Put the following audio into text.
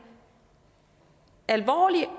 alvorlig